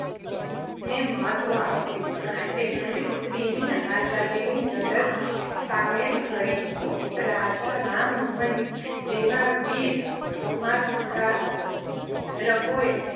ને મહત્ત્વ આપ્યું. તેમણે સ્ત્રીઓને આઝાદીની લડતમાં સામેલ કરી. રાજા રામમોહનરાય જેવા વીર સમાજસુધારકોયે